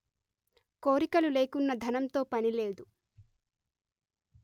కోరికలు లేకున్న ధనంతో పని లేదు